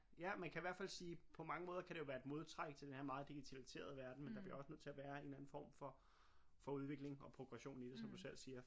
Ja man kan i hvert fald sige på mange måder kan det jo være et modtræk til den her meget digitaliserede verden men der bliver også nødt til at være en eller anden form for for udvikling og progression i det som du selv siger